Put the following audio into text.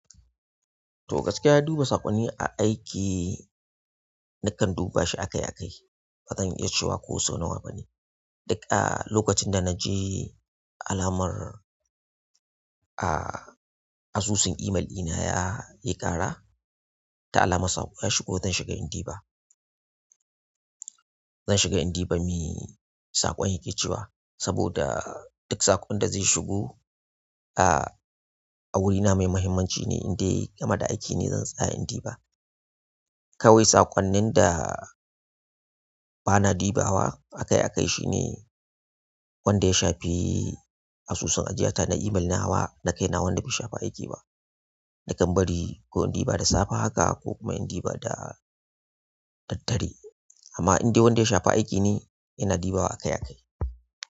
To gaskiya duba saƙonni a aiki nakan iya duba akai akai bazan iya cewa ko so nawa ne e ah lokacin da naji alamar a asusun imel ɗina yayi jara da alamar saƙo ya shigo zan shiga indiba, zanshiga in diba me saƙon yake cewa saboda duk saƙon da ze shigo a wurina mai muhimmanci ne indai game da aiki ne zan tsaya indiba kawai saƙonnin da bana dibawa akai akai shine wanda ya shafi asusun ajiyata na imel nawa da kai na wanda bai shafi aiki ba. Nakan bari ko indiba da safe haka ko indiba da daddare amma indai wanda ya shafi aiki ne in dibawa akai akai.